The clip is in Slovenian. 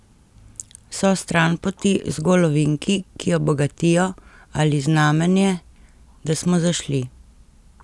So stranpoti zgolj ovinki, ki jo bogatijo, ali znamenje, da smo zašli?